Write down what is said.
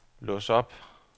lås op